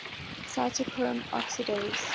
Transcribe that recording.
cytochrome oxidase